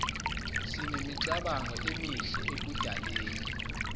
sinemicabango emihle ekudaleni